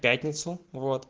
пятницу вот